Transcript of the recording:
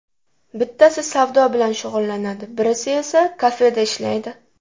Bittasi savdo bilan shug‘ullanadi, birisi esa kafeda ishlaydi.